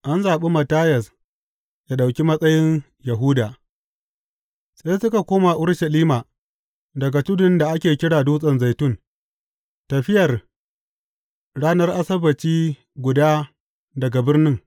An zaɓi Mattiyas yă ɗauki matsayin Yahuda Sai suka koma Urushalima daga tudun da ake kira Dutsen Zaitun, tafiyar ranar Asabbaci guda daga birnin.